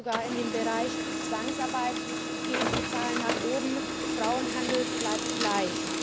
Gerade in dem Bereich Zwangsarbeit gehen die Zahlen nach oben, Frauenhandel bleibt gleich.